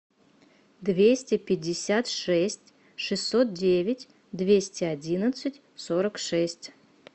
двести пятьдесят шесть шестьсот девять двести одиннадцать сорок шесть